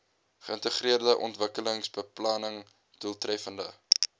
geïntegreerde ontwikkelingsbeplanning doeltreffende